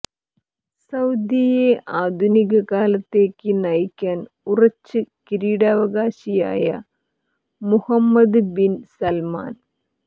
സൌദിയെ ആധുനിക കാലത്തേക്ക് നയിക്കാൻ ഉറച്ച് കിരീടാവകാശിയായ മുഹമ്മദ് ബിൻ സൽമാൻ